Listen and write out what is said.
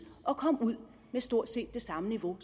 at komme ud med stort set det samme niveau